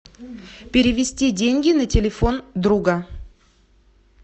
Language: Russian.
перевести деньги на телефон друга